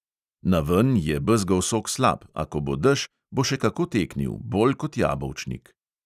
Naven je bezgov sok slab, a ko bo dež, bo še kako teknil, bolj kot jabolčnik.